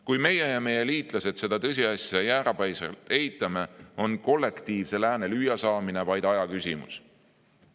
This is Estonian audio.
Kui meie ja meie liitlased seda tõsiasja jäärapäiselt eitame, on kollektiivse lääne lüüasaamine vaid aja küsimus.